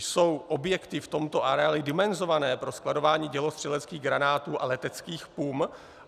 Jsou objekty v tomto areálu dimenzované na skladování dělostřeleckých granátů a leteckých pum?